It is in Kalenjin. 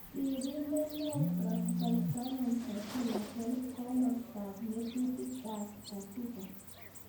Sirindeet neoo Prof Simon S.Msanjila 12 Komostap ng'atutil ak Katibq